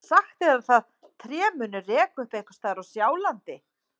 Sagt er að það tré muni reka upp einhvers staðar á Sjálandi.